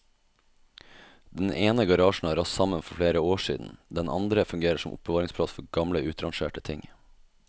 Den ene garasjen har rast sammen for flere år siden, den andre fungerer som oppbevaringsplass for gamle utrangerte ting.